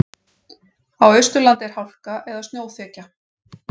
Á Austurlandi er hálka eða snjóþekja